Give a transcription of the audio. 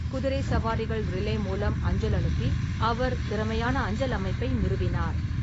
குதிரை சவாரிகள் ரிலே மூலம் அஞ்சல் அனுப்பி, அவர் திறமையான அஞ்சல் அமைப்பை நிறுவினார்.